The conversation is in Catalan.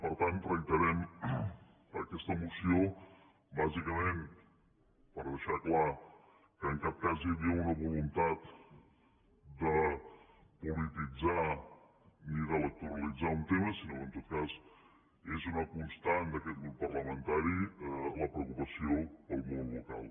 per tant reiterem aquesta moció bàsicament per deixar clar que en cap cas hi havia una voluntat de polititzar ni d’electoralitzar un tema sinó que en tot cas és una constant d’aquest grup parlamentari la preocupació per al món local